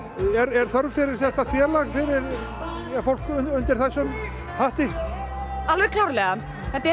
er þörf fyrir sérstakt félag fyrir fólk undir þessum hatti alveg klárlega þetta er